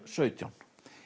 sautján